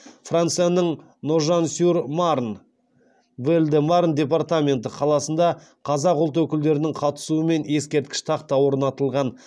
францияның ножан сюр марн қаласында қазақ ұлт өкілдерінің қатысуымен ескерткіш тақта орнатылған